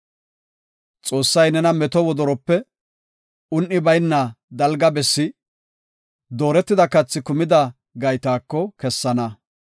“Xoossay nena meto wodorope, un7i bayna dalga bessi, dooretida kathi kumida gaytaako kessana.